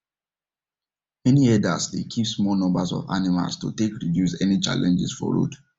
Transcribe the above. many herders dey keep small numbers of animal to take reduce any challenges for road